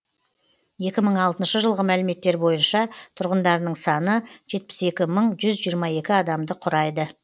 екі мың алтыншы жылғы мәліметтер бойынша тұрғындарының саны жетпіс екі мың жүз жиырма екі адамды құрайды